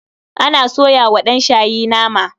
Ana soya wa ɗanshayi nama.